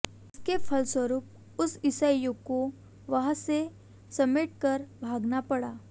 इसके फलस्वरूप उस ईसाईको वहांसे सब समेटकर भागना पडा